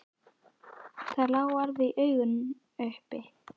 Það lá alveg í augum uppi.